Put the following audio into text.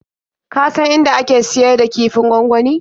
Ka san inda ake siyar da kifin gwangwani?